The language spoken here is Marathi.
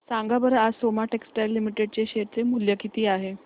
सांगा बरं आज सोमा टेक्सटाइल लिमिटेड चे शेअर चे मूल्य किती आहे